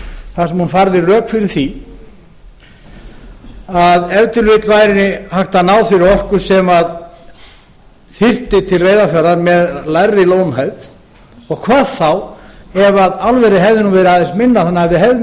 þar sem hún færði rök fyrir því að ef til vill væri hægt að ná þeirri orku sem þyrfti til reyðarfjarðar með lægri lónhæð og hvað þá ef álverið hefði verið aðeins minna þannig að við hefðum ekki